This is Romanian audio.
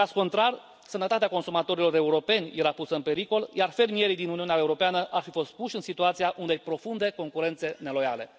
În caz contrar, sănătatea consumatorilor europeni era pusă în pericol, iar fermierii din Uniunea Europeană ar fi fost puși în situația unei profunde concurențe neloiale.